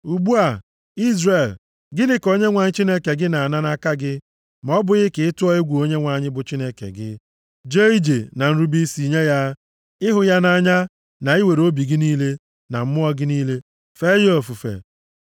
Ugbu a, Izrel, gịnị ka Onyenwe anyị Chineke gị na-ana nʼaka gị ma ọ bụghị ka ị tụọ egwu Onyenwe anyị bụ Chineke gị, jee ije na nrube isi nye ya, ịhụ ya nʼanya, na iwere obi gị niile na mmụọ gị niile fee ya ofufe,